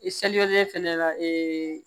I selilen fɛnɛ la ee